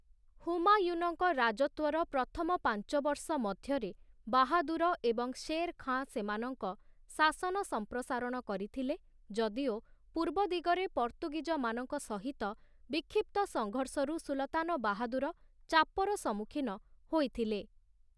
ହୁମାୟୁନଙ୍କ ରାଜତ୍ଵର ପ୍ରଥମ ପାଞ୍ଚ ବର୍ଷ ମଧ୍ୟରେ ବାହାଦୂର ଏବଂ ଶେର୍ ଖାଁ ସେମାନଙ୍କ ଶାସନ ସମ୍ପ୍ରସାରଣ କରିଥିଲେ, ଯଦିଓ ପୂର୍ବ ଦିଗରେ ପର୍ତ୍ତୁଗୀଜମାନଙ୍କ ସହିତ ବିକ୍ଷିପ୍ତ ସଂଘର୍ଷରୁ ସୁଲତାନ ବାହାଦୂର ଚାପର ସମ୍ମୁଖୀନ ହୋଇଥିଲେ ।